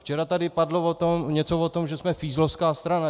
Včera tady padlo něco o tom, že jsme fízlovská strana.